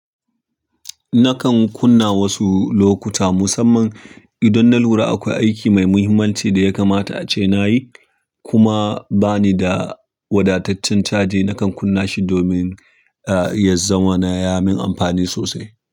Nakan kunna wasu lokuta musamman idan na lura akwai aiki mai muhimmanci da ya kamata a ce na yi kuma ba ni da wadataccen caji. Nakan kunna shi domin, ah, ya zama na ya min amfani sosai.